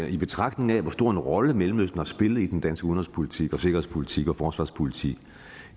i betragtning af hvor stor en rolle mellemøsten har spillet i den danske udenrigspolitik og sikkerhedspolitik og forsvarspolitik